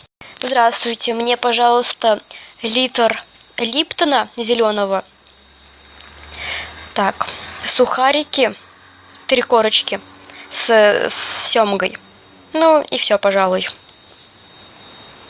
здравствуйте мне пожалуйста литр липтона зеленого так сухарики три корочки с семгой ну и все пожалуй